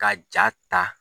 Ka jaa ta.